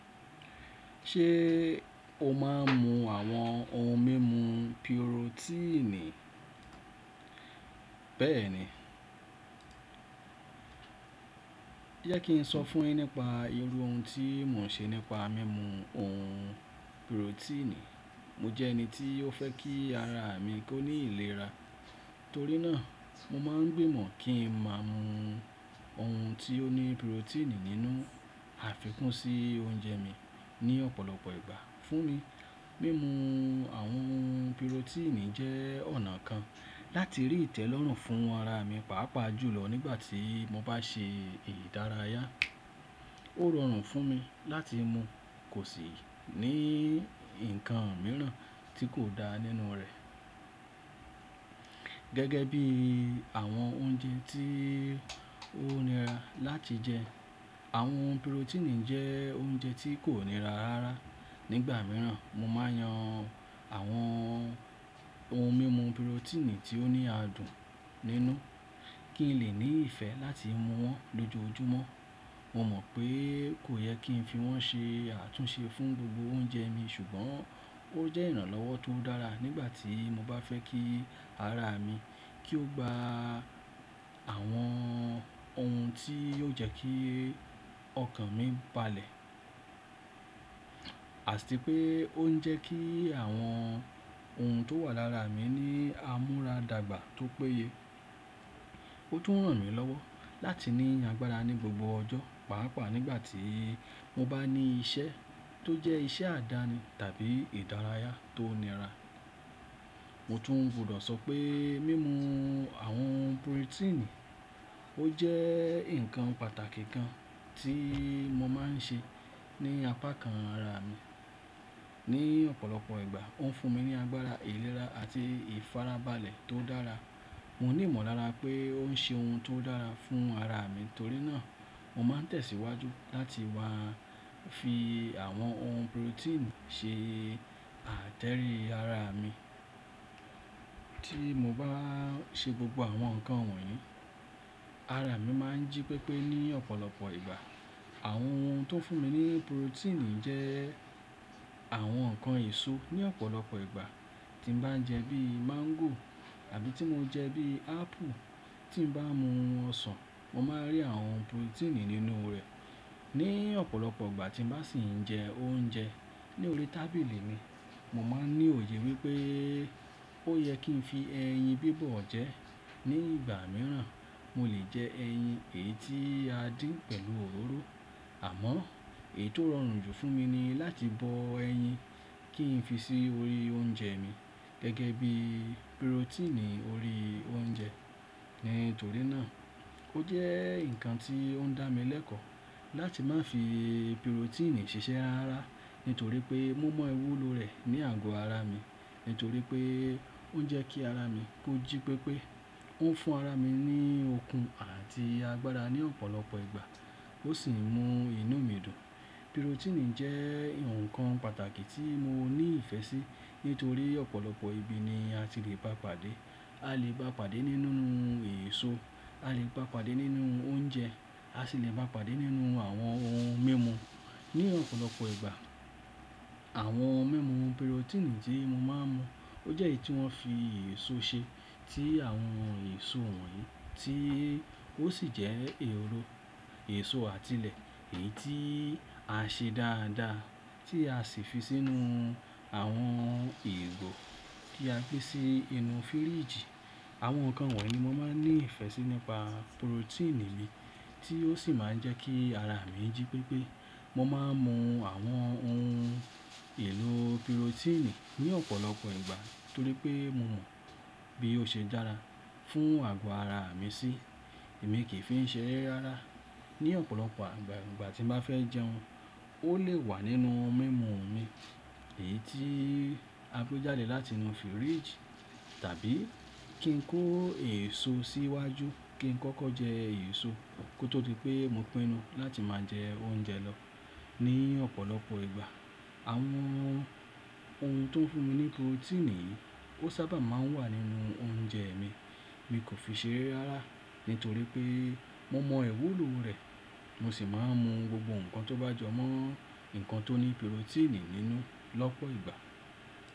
Ṣé o máa ń mu àwọn ohun mímu pirotíìnì? Bẹ́ẹ̀ ni. Jẹ́ kí n sọ fún ẹ nípa irú ohun tí mò ń ṣe nípa mímu ohun pirotíìnì. Mo jẹ́ ẹni tí ó fẹ́ kí ara mi kó ní ìlera, torí náà mo máa ń gbìmọ̀ kí n máa mu ohun tí ó ní pirotíìnì nínú àfikún sí oúnjẹ mi ní ọ̀pọ̀lọpọ̀ ìgbà. Fún mi, mímu àwọn pirotíìnì jẹ́ ọ̀nà kan láti rí ìtẹ́lọ́rùn fún ara mi, pàápàá jùlọ nígbà tí mo bá ṣe ìdárayá. Ó rọrùn fún mi láti mu, kò sì ní ǹkan mìíràn tí kò dá nínú rẹ̀. Gẹ́gẹ́ bí àwọn oúnjẹ tí ó nira láti jẹ, àwọn pirotíìnì jẹ́ oúnjẹ tí kò nira rárá. Nígbà mìíràn, mo máa ń yan àwọn ohun mímu pirotíìnì tí ó ní adùn nínú kí n lè ní ìfẹ́ láti mu wọn lójoojúmọ́. Mo mọ̀ pé kò yẹ kí n fi wọ́n ṣe àtúnṣe fún gbogbo oúnjẹ mi, ṣùgbọ́n ó jẹ́ ìrànlọ́wọ́ tó dára nígbà tí mo bá fẹ́ kí ara mi kó gba àwọn ohun tí yóò jẹ́ kí ọkàn mi balẹ̀. Àti pé ó ń jẹ́ kí àwọn ohun tó wà lára mi ní àmúradàgbà tó péye. Ó tún ràn mí lọ́wọ́ láti ní agbára ní gbogbo ọjọ́, pàápàá nígbà tí mo bá ní iṣẹ́ tó jẹ́ iṣẹ́ àdáni tàbí ìdárayá tó nira. Mo tún gbọdọ̀ sọ pé mímu àwọn pirotíìnì ó jẹ́ ǹkan pàtàkì kan tí mo máa ń ṣe ní apá kan ara mi. Ní ọ̀pọ̀lọpọ̀ ìgbà, ó ń fún mi ní agbára, ìlera àti ìfarabalẹ̀ tó dára. Mo ní ìmọ̀lára pé ó ń ṣe ohun tó dára fún ara mi, torí náà mo máa ń tẹ̀síwájú láti wá fi àwọn ohun pirotíìnì ṣe àtẹ́rí ara mi. Tí mo bá ṣe gbogbo àwọn nǹkan wọ̀nyí, ara mi máa ń jí pépé ní ọ̀pọ̀lọpọ̀ ìgbà. Àwọn ohun tó ń fún mi ní pirotíìnì jẹ́ àwọn nǹkan èso ní ọ̀pọ̀lọpọ̀ ìgbà tí mo bá ń jẹ bíi máńgò tàbí tí mo jẹ bíi ápù. Tí bá mu ọsàn, mo máa rí àwọn pirotíìnì nínú rẹ̀. Ní ọ̀pọ̀lọpọ̀ ìgbà tí mo bá sì ń jẹ oúnjẹ ní orí tábìlì mi, mo máa ń ní òye wípé ó yẹ kí n fi ẹyin bíbọ̀ jẹ́. Ní ìgbà mìíràn, mo lè jẹ ẹyin èyí tí a dín pẹ̀lú òróró. Àmọ́ èyí tó rọrùn jù fún mi ni láti bọ ẹyin kí n fi sí orí oúnjẹ mi gẹ́gẹ́ bí pirotíìnì orí oúnjẹ. Nítorí náà ó jẹ́ ǹkan tí ó ń dá mi lẹ́kọ̀ọ́ láti má fi pirotíìnì ṣiṣẹ́ rará nítorí pé mo mọ ìwúlò rẹ̀ ní àgọ́ ara mi. Nítorí pé ó ń jẹ́ kí ara mi kó jí pépé. Ó ń fún ara mi ní okun àti agbára ní ọ̀pọ̀lọpọ̀ ìgbà. Ó sì ń mú inú mi dùn. Pirotíìnì jẹ́ ǹkan pàtàkì tí mo ní ìfẹ́ sí nítorí ọ̀pọ̀lọpọ̀ ibi ni a ti le bá pàdé. A lè bá pàdé nínú èso, a lè bá pàdé nínú oúnjẹ, a sì lè bá pàdé nínú àwọn ohun mímu ní ọ̀pọ̀lọpọ̀ ìgbà. Àwọn ohun mímu pirotíìnì tí mo máa ń mu ó jẹ́ èyí tí wọ́n fi èso ṣe, tí àwọn èso wọ̀nyí tí ó sì jẹ́ èlò èso àtilẹ̀ èyí tí a ṣe dáadáa tí a sì fi sínú àwọn ìgò kí a gbé sí inú fíríjì. Àwọn nǹkan wọ̀nyí ni mo máa ń ní ìfẹ́ sí nípa pirotíìnì mi tí ó sì máa ń jẹ́ kí ara mi jí pépé. Mo máa ń mu àwọn ohun èlò pirotíìnì ní ọ̀pọ̀lọpọ̀ ìgbà torí pé mo mọ bí ó ṣe dára fún àgọ́ ara mi sí. Èmi kì í fi ṣeré rárá ní ọ̀pọ̀lọpọ̀ ìgbà ìgbà tí mo bá fẹ́ jẹun. Ó lè wà nínú ohun mímu mi, èyí tí a gbé jádè láti inú fíríjì tàbí kí n kó èso síwájú kí n kọ́kọ́ jẹ èso kó tó di pé mo pinu láti máa jẹ oúnjẹ lọ. Ní ọ̀pọ̀lọpọ̀ ìgbà, àwọn ohun tó ń fún mi ní pirotíìnì ó sábà máa ń wà nínú oúnjẹ mi. Mi kò fi ṣeré rárá nítorí pé mo mọ ìwúlò rẹ̀. Mo sì máa ń mu gbogbo nǹkan tó bá jọ mọ́ nǹkan tó ní pirotíìnì nínú lọ́pọ̀ ìgbà.